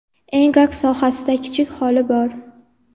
Engak sohasida kichik xoli bor.